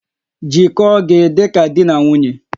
Jikọọ gị dị ka di na nwunye